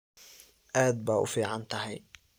Aad ba uficnthy.